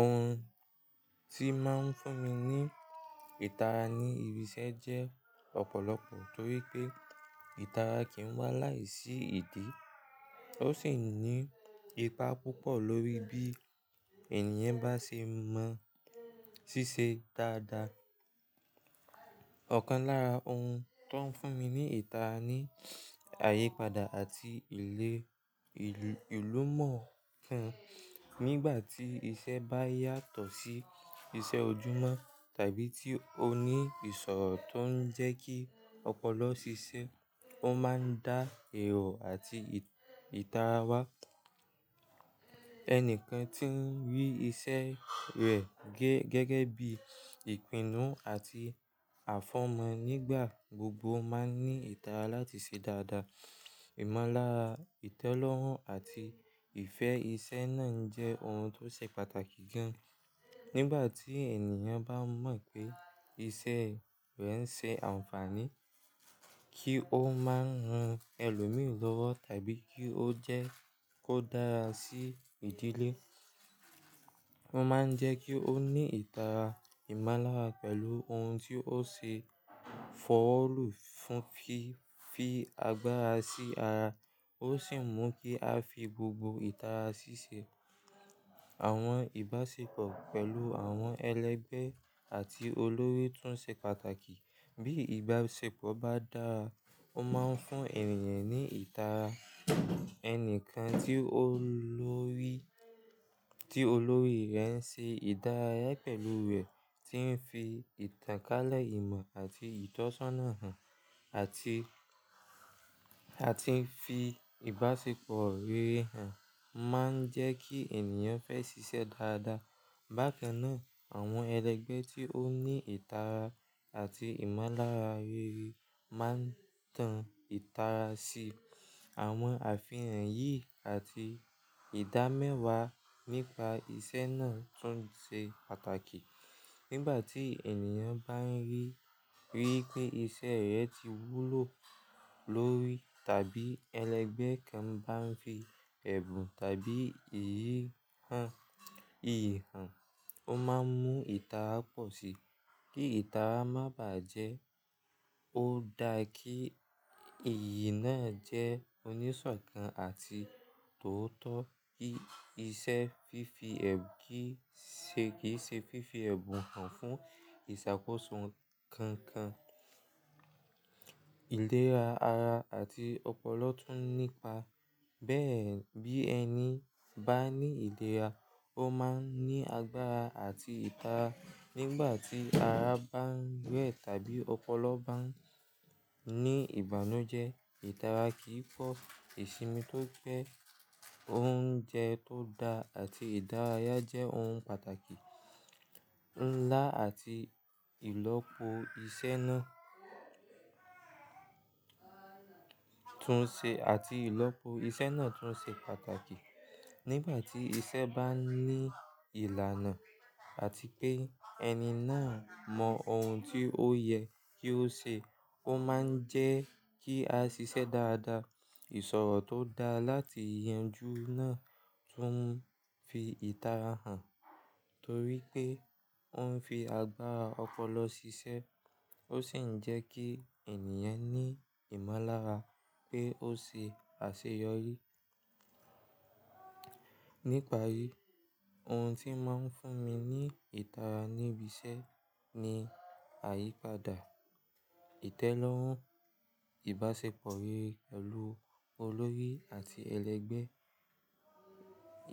Ohun tí máa ń fún mi ní ìtara ní ibi iṣẹ́ jẹ́ ọ̀pọ̀lọpọ̀ torí pé ìtara kì í wá láìsí ìdí. Ó sì ní ipa púpọ̀ lórí bí ènìyàn bá ṣe mọ ṣíṣe dáadáa. Ọ̀kan lára ohun tó ń fún mi ní ìtara ni àyípadà àti ìlérí ìlúmọ̀ọ́kàn. Nígbà tí iṣẹ́ bá yàtọ̀ sí iṣẹ́ ojúmọ́ tàbí tí ó ní ìṣòro tó ń jẹ́ kí ọpọlọ ṣiṣẹ́, ó máa ń dá ẹ̀rọ̀ àti ìtara wá. Ẹnìkan tí ń rí iṣẹ́ rẹ̀ gẹ́gẹ́ bí ìpinnu àti àfọ̀mọ́ nígbà gbogbo máa ń ní ìtara láti ṣe dáadáa. Ìmọ̀lára, ìtẹ́lọ́rùn àti ìfẹ́ ìṣe náà jẹ́ ohun tó ṣe pàtàkì gan. Nígbà tí ènìyàn bá mọ̀ pé iṣẹ́ rẹ̀ ń ṣe àǹfààní kí ó máa ran ẹlòmíràn lọ́wọ́ tàbí kí ó jẹ́ kó dára sí ìdílé, ó máa ń jẹ́ kí ó ní ìtara ìmọ̀lára pẹ̀lú ohun tí ó ṣe fọ́ọ̀lù fún fi fi agbára sí ara. Ó sì mú kí a fi gbogbo ìtara ṣíṣe. Àwọn ìbáṣepọ̀ pẹ̀lú àwọn ẹlẹgbẹ́ àti olórí tún ṣe pàtàkì. Bí ìbáṣepọ̀ bá dára, ó máa ń fún ènìyàn ní ìtara. Ẹnìkan tí olórí, tí olórí rẹ̀ ń ṣe ìdárayá pẹ̀lú rẹ̀, tí ń fi ìtànkálẹ̀ ìmọ̀ àti ìtọ́sọ́nà hàn àti, àti ń fi ìbáṣepọ̀ rere hàn, máa ń jẹ́ kí ènìyàn fẹ́ ṣiṣẹ́ dáadáa. Bákan náà, àwọn ẹlẹgbẹ́ tí ó ní ìtara àti ìmọ̀lára rere máa ń tan ìtara sí. Àwọn àfihàn yìí àti ìdámẹ́wàá nípa iṣẹ́ náà tún ṣe pàtàkì. Nígbà tí ènìyàn bá ń rí, rí pé iṣẹ́ rẹ̀ ti wúlò lórí tàbí ẹlẹgbẹ́ kan bá ń fi ẹ̀bùn tàbí iyì hàn, ó máa mú ìtara pọ̀ si. Kí ìtara má bàjẹ́, ó da kí iyì náà jẹ́ oníṣọ̀kan àti tòótọ́. Íṣẹ́ fífi ẹ̀ gẹ́gẹ́ ṣe fífi ẹ̀bùn hàn fún ìṣàkóso kan kan. Ìlera ara àti ọpọlọ tún nípa. Bẹ́ẹ̀ bí ẹni bá ní ìlera, ó máa ń ní agbára àti ìtara. Nígbà tí ara bá ń wẹ̀ tàbí ọpọlọ bá ń ní ìbànújẹ́, ìtara kì í pọ̀. Ìsinmi tó pé, oúnjẹ tó da àti ìdárayá jẹ́ ohun pàtàkì. Ńlá àti ìlọ́po iṣẹ́ náà tún ṣe, àti ìlọ́po iṣẹ́ náà tún ṣe pàtàkì. Nígbà tí iṣẹ́ bá ní ìlànà àti pé ẹni náà mọ ohun tí ó yẹ kí ó ṣe, ó máa ń jẹ́ kí a ṣiṣẹ́ dáadáa. Ìṣòro tó da láti ìyànjú náà tún fi ìtara hàn torí pé ó ń fi agbára ọpọlọ ṣiṣẹ́. Ó sì ń jẹ́ kí ènìyàn ní ìmọ̀lára pé ó ṣe àṣeyọrí. Níparí, ohun tí ó máa ń fún mi ní ìtara ní ibi iṣẹ́ ni àyípadà, ìtẹ́lọ́rùn, ìbáṣepọ̀ rere pẹ̀lú olórí àti ẹlẹgbẹ́,